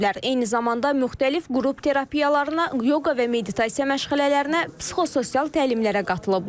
Eyni zamanda müxtəlif qrup terapiyalarına, yoqa və meditasiya məşğələlərinə, psixososial təlimlərə qatılıblar.